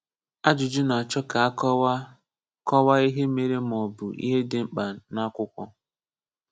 Ajụjụ na-achọ ka a kọwaa kọwaa ihe mere maọbụ ihe dị mkpa n’akwụkwọ.